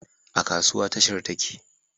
A kasuwa, tashar take